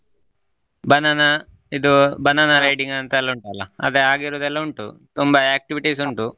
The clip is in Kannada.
Banana ಇದು banana ಅಂತ ಎಲ್ಲಾ ಉಂಟಲ್ಲಾ ಅದ ಹಾಗಿರೋದೆಲ್ಲಾ ಉಂಟು ತುಂಬ activities .